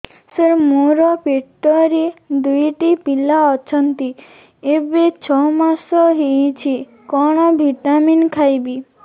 ସାର ମୋର ପେଟରେ ଦୁଇଟି ପିଲା ଅଛନ୍ତି ଏବେ ଛଅ ମାସ ହେଇଛି କଣ ଭିଟାମିନ ଖାଇବି